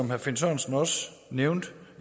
herre finn sørensen også nævnte